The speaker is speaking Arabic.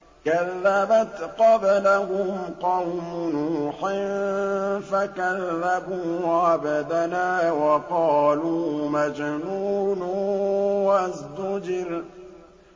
۞ كَذَّبَتْ قَبْلَهُمْ قَوْمُ نُوحٍ فَكَذَّبُوا عَبْدَنَا وَقَالُوا مَجْنُونٌ وَازْدُجِرَ